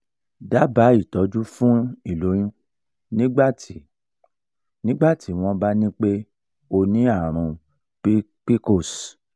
daba itọ́jú fún iloyun nigbati nigbati wọn bá nipe o ni àrùn pcos